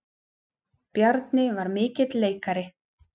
Bjarni var mikill leikari.